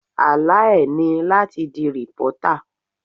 Àlá e ni láti di reporter.